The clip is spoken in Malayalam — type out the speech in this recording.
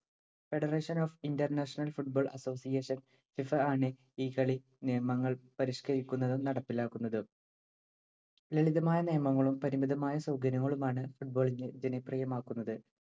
Federation of International Football AssociationsFIFA ആണ് ഈ കളി നിയമങ്ങൾ പരിഷ്ക്കരിക്കുന്നതും നടപ്പിലാക്കുന്നതും. ലളിതമായ നിയമങ്ങളും പരിമിതമായ സൗകര്യങ്ങളുമാണ് football ഇനെ ജനപ്രിയമാക്കുന്നത്.